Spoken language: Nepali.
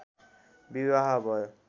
विवाह भयो